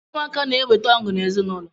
Ụmụaka na-eweta ọṅụ n'ezinụlọ